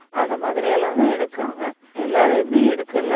அந்த மாதிரி எல்லாம்தான் எடுக்காங்க எல்லாரையுமே எடுக்கலை